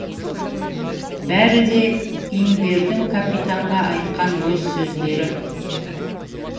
бәрі де имбердің капитанға айтқан өз сөздері